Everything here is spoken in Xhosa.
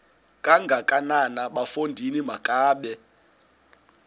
kangakanana bafondini makabe